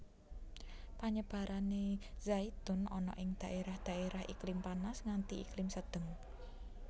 Panyebarané zaitun ana ing dhaérah dhaérah iklim panas nganti iklim sedheng